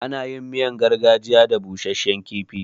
Ana yin miyar gargajiya da busashshen kifi.